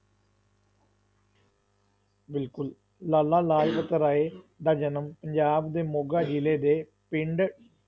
ਬਿਲਕੁਲ ਲਾਲਾ ਲਾਜਪਤ ਰਾਏ ਦਾ ਜਨਮ ਪੰਜਾਬ ਦੇ ਮੋਗਾ ਜਿਲੇ ਦੇ ਪਿੰਡ